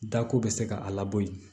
Da ko bɛ se ka a labɔ yen